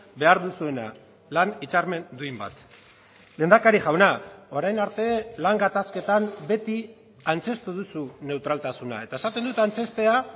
behar duzuena lan hitzarmen duin bat lehendakari jauna orain arte lan gatazketan beti antzeztu duzu neutraltasuna eta esaten dut antzeztea